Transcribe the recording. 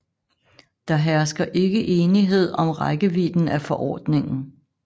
Der hersker ikke enighed om rækkevidden af forordningen